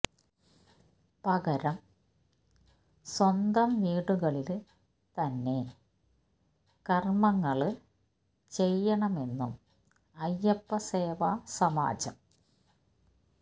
പകരം സ്വന്തം വീടുകളില് തന്നെ കര്മ്മങ്ങള് ചെയ്യണമെന്നും അയ്യപ്പ സേവാ സമാജം